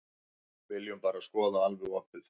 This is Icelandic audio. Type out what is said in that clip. Viljum bara skoða alveg opið.